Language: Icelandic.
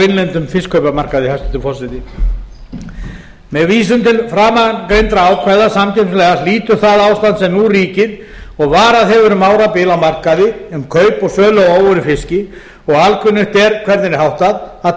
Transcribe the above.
innlendum fiskkaupamarkaði með vísan til framangreindra ákvæða samkeppnislaga hlýtur það ástand sem nú ríkir og varað hefur um árabil á markaði um kaup og sölu á óunnum fiski og alkunnugt er hvernig er háttað að